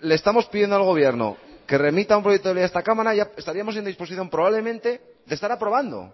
le estamos pidiendo al gobierno que remita un proyecto de ley a esta cámara estaríamos en disposición probablemente de estar aprobando